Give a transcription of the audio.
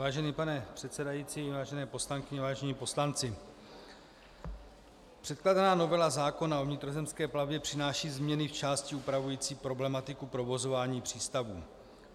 Vážený pane předsedající, vážené poslankyně, vážení poslanci, předkládaná novela zákona o vnitrozemské plavbě přináší změny v části upravující problematiku provozování přístavů.